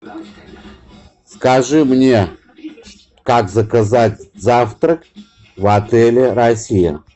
скажи мне как заказать завтрак в отеле россия